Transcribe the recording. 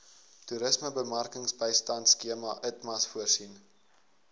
toerismebemarkingsbystandskema itmas voorsien